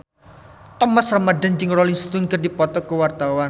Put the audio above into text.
Thomas Ramdhan jeung Rolling Stone keur dipoto ku wartawan